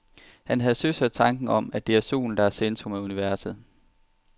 Han havde søsat tanken om, at det er solen, der er i centrum af universet.